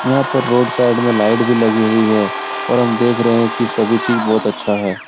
यहाँ पर road side में लाइट भी लगी हुई है और हम देख रहें हैं कि सभी चीज़ बहुत अच्छा है।